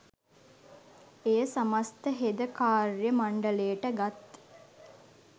එය සමස්ත හෙද කාර්ය මණ්ඩලයට ගත්